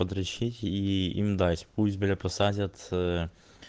подрачить и им дать пусть блять посадят и э